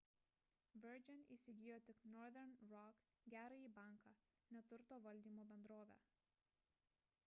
virgin įsigijo tik northern rock gerąjį banką ne turto valdymo bendrovę